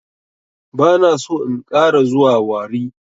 Bana so in ƙara zuwa warri.